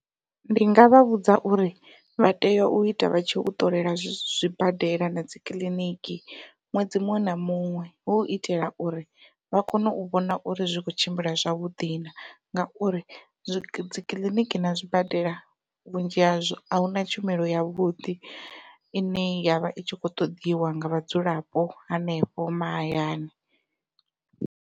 Ndi ngavha vhudza uri vha tea u ita vha tshi u ṱolela zwibadela na dzikiḽiniki ṅwedzi muṅwe na muṅwe, hu u itela uri vha kone u vhona uri zwi khou tshimbila zwavhuḓi na ngauri dzi kiḽiniki na zwibadela vhunzhi hazwo ahuna tshumelo yavhuḓi ine yavha i tshi kho ṱoḓiwa nga vhadzulapo hanefho mahayani.